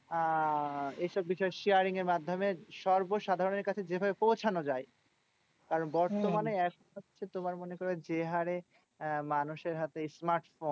আহ এসব বিষয় sharing এর মাধ্যমে সর্বসাধারণের কাছে যেভাবে পৌঁছানো যায়। কারণ বর্তমানে তোমার মনে করো যে হারে আহ মানুষের হাতে smart ফোন,